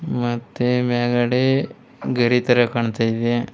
ಮತ್ತೆ ಮ್ಯಾಗಡೆ ಗಡಿ ತರ ಕಾಣ್ತಾ ಇದೆ.